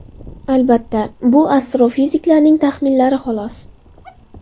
Albatta, bu astrofiziklarning taxminlari xolos.